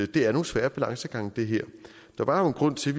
det er nogle svære balancegange der var jo en grund til